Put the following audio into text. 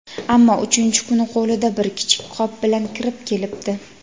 ammo uchinchi kuni qo‘lida bir kichik qop bilan kirib kelibdi.